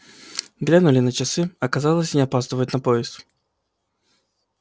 глянули на часы оказалось они опаздывают на поезд